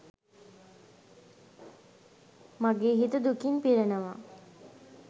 මගේ හිත දුකින් පිරෙනවා.